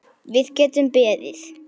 Við getum beðið.